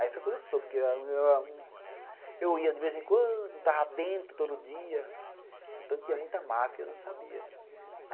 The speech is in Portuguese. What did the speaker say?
Aí foi quando soube, porque eu ia de vez em quando, não estava dentro todo dia, então tinha muita máfia e eu não sabia, né.